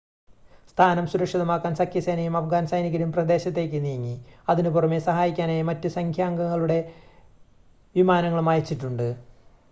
സ്ഥാനം സുരക്ഷിതമാക്കാൻ സഖ്യസേനയും അഫ്ഗാൻ സൈനികരും പ്രദേശത്തേക്ക് നീങ്ങി അതിനുപുറമെ സഹായിക്കാനായി മറ്റ് സഖ്യാംഗങ്ങളുടെ വിമാനങ്ങളും അയച്ചിട്ടുണ്ട്